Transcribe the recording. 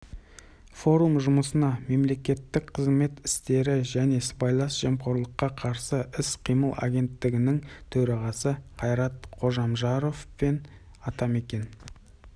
форум жұмысына мемлекеттік қызмет істері және сыбайлас жемқорлыққа қарсы іс-қимыл агенттігінің төрағасы қайрат қожамжаров пен атамекен